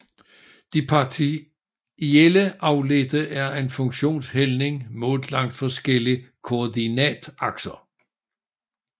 De partielle afledte er en funktions hældning målt langs forskellige koordinatakser